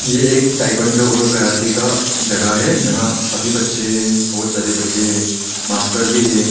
ये एक ताइक्वांडो और कराटे का जगह है जहां सभी बच्चे हैं बहुत सारे बच्चे हैं मास्टर भी है।